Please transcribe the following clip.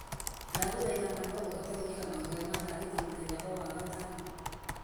ndagũthaitha ma no ũhote gwĩkĩra mahoya ma thaa thita mũthenya o wagatano o wagatano